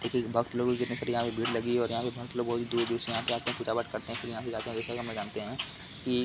देखिये भक्त लोग यहाँ पे भीड़ लगी है और यहाँ पे भक्त लोगो बहुत ही दूर-दूर से यहाँ पे आते हैं। पूजा पाठ करते है। फिर यहाँ से जाते हैं की --